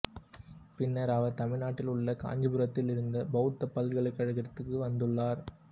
பின்னர் அவர் தமிழ்நாட்டில் உள்ள காஞ்சிபுரத்தில் இருந்த பௌத்தப் பல்கலைக் கழகத்திற்கும் வந்துள்ளார்